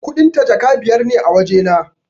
Kuɗin ta Jaka biyar ne a wajena